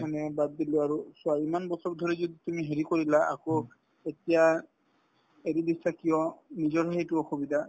মানে বাদ দিলো আৰু চোৱা ইমান বছৰ ধৰি যদি তুমি হেৰি কৰিলা আকৌ এতিয়া এৰি দিছা কিয় নিজৰ সেইটো অসুবিধা